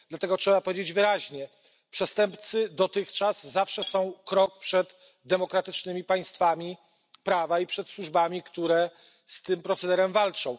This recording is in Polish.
Dlatego trzeba powiedzieć wyraźnie przestępcy dotychczas zawsze są krok przed demokratycznymi państwami prawa i przed służbami, które z tym procederem walczą.